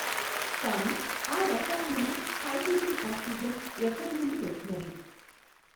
కానీ ఆ రసాయనము హైడ్రోజన్ ఆక్సిజన్ ఎక్కడ నుండి వచ్చినవి?